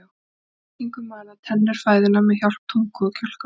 Við tyggingu mala tennur fæðuna með hjálp tungu og kjálkavöðva.